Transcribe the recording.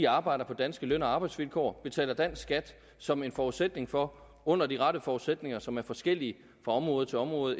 arbejder på danske løn og arbejdsvilkår og betaler dansk skat som en forudsætning for under de rette forudsætninger som er forskellige fra område til område